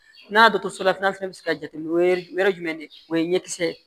N'a dɔgɔtɔrɔso la fana bɛ se ka jateminɛ o yɛrɛ ye jumɛn de ye o ye ɲɛkisɛ ye